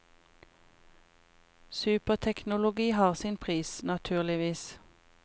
Superteknologi har sin pris, naturligvis.